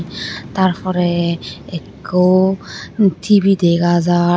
taar pore ikko T_V dega jar.